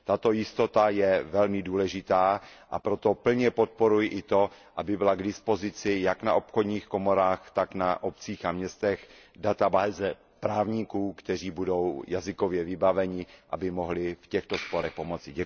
Tato jistota je velmi důležitá, a proto plně podporuji i to, aby byla k dispozici jak na obchodních komorách, tak na obcích a městech databáze právníků, kteří budou jazykově vybaveni, aby mohli v těchto sporech pomoci.